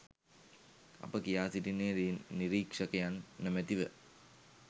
අප කියා සිටින්නේ නිරීක්‍ෂකයන් නොමැති ව